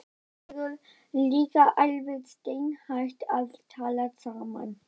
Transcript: Þið eruð líka alveg steinhætt að tala saman.